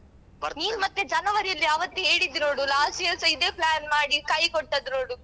ನೀನ್ ಮತ್ತೆ ಜನವರಿಯಲ್ಲಿ ಅವತ್ತು ಹೇಳಿದ್ದಿ ನೋಡು last year ಸ ಇದೆ plan ಮಾಡಿ ಕೈ ಕೊಟ್ಟದ್ದು ನೋಡು.